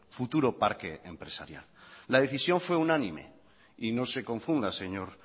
futuro parque empresarial la decisión fue unánime y no se confunda señor